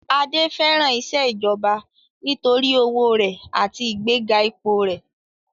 Adé fẹ́ràn isẹ́ ìjọba nítorí owó rẹ̀ àti ìgbéga ipò rẹ̀